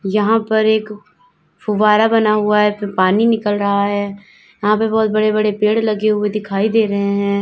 यहां पर एक फूब्बारा बना हुआ है पानी निकल रहा है यहां पर बहुत बड़े बड़े पेड़ लगे हुए दिखाई दे रहे हैं।